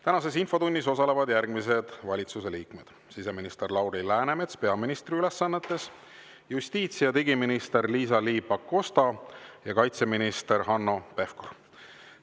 Tänases infotunnis osalevad järgmised valitsuse liikmed: siseminister Lauri Läänemets peaministri ülesannetes, justiits‑ ja digiminister Liisa-Ly Pakosta ning kaitseminister Hanno Pevkur.